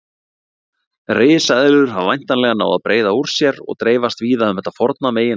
Risaeðlur hafa væntanlega náð að breiða úr sér og dreifast víða um þetta forna meginland.